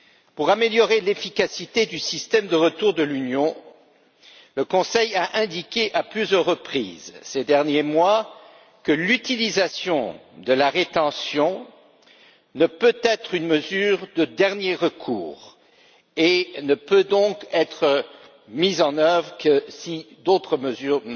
Pour améliorer l'efficacité du système de retour de l'Union, le Conseil a indiqué à plusieurs reprises, ces derniers mois, que l'utilisation de la rétention ne peut être qu'une mesure de dernier recours, et ne peut donc être mise en œuvre que si d'autres mesures